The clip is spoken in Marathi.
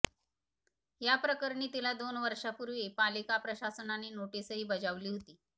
याप्रकरणी तिला दोन वर्षांपूर्वी पालिका प्रशासनाने नोटीसही बजावली होती